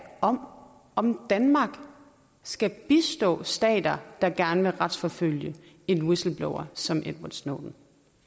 om om danmark skal bistå stater der gerne vil retsforfølge en whistleblower som edward snowden